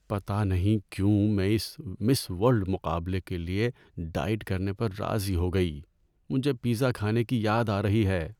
پتہ نہیں کیوں میں اس مِس ورلڈ مقابلے کے لیے ڈائٹ کرنے پر راضی ہو گئی۔ مجھے پیزا کھانے کی یاد آ رہی ہے۔